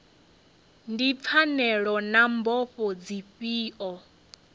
ndi pfanelo na mbofho dzifhio